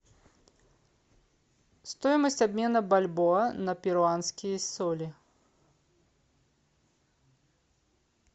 стоимость обмена бальбоа на перуанские соли